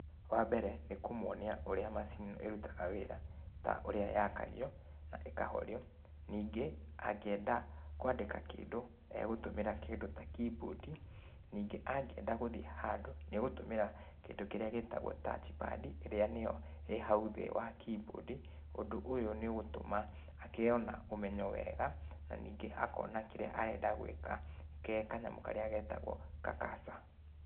Wambere, nĩkũmonia ũrĩa macini ĩrutaga wĩra, ta ũrĩa yakagio na ĩkahorio. Ningĩ, angĩenda kũandĩka kĩndũ, egũtũmira kĩndũ ta key boardi, ningĩ angienda gũthiĩ handũ, nĩegũtũmĩra kĩndũ kĩrĩa gĩtagũo touch pad, ĩria nĩyo ĩrĩhau thĩ wa key boardi, ũndũ ũyũ nĩũgũtũma agĩo na ũmenyo wega, na ningĩ akona kĩrĩa arenda gũĩka, ke kanyamũ karĩa getagũo ka- cursor.